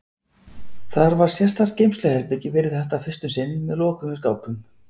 Þar var sérstakt geymsluherbergi fyrir þetta fyrst um sinn, með lokuðum skápum.